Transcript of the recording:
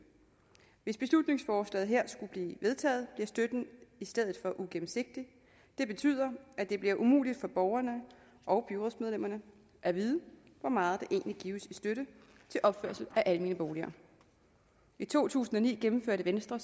hvis beslutningsforslaget her skulle blive vedtaget bliver støtten i stedet for ugennemsigtig det betyder at det bliver umuligt for borgerne og byrådsmedlemmerne at vide hvor meget der egentlig gives i støtte til opførelse af almene boliger i to tusind og ni gennemførte venstre